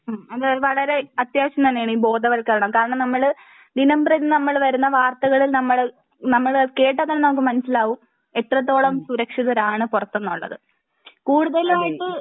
മ്മ് അത് വളരേ അത്യാവിശം തന്നേണ് ഈ ബോധവത്കരണം കാരണം നമ്മൾ ദിനംപ്രതി നമ്മൾ വരുന്ന വാർത്തകൾ നമ്മൾ നമ്മൾ കേട്ടാൽ തന്നെ നമുക്ക് മനസിലാകും എത്രത്തോളം സുരക്ഷിതരാണ് പൊറത്തെന്നുള്ളത് കൂടുതലായിട്ടും ഇത്